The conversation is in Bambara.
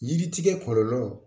Yiri tigɛ kɔlɔlɔ